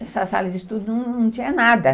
Essa sala de estudo não tinha nada.